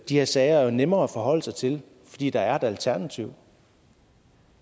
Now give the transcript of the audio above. her sager er nemme at forholde sig til fordi der er et alternativ